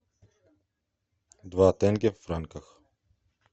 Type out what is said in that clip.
два тенге в франках